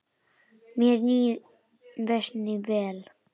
Mér líður næstum vel.